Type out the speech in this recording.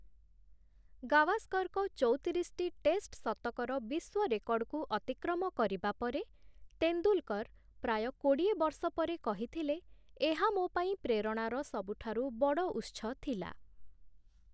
ଗାଭାସ୍କର୍‌ଙ୍କ ଚଉତିରିଶଟି ଟେଷ୍ଟ୍‌ ଶତକର ବିଶ୍ୱ ରେକର୍ଡ଼୍‌କୁ ଅତିକ୍ରମ କରିବା ପରେ, ତେନ୍ଦୁଲ୍‌କର୍‌ ପ୍ରାୟ କୋଡ଼ିଏ ବର୍ଷ ପରେ କହିଥିଲେ, ଏହା ମୋ' ପାଇଁ ପ୍ରେରଣାର ସବୁଠାରୁ ବଡ଼ ଉତ୍ସ ଥିଲା ।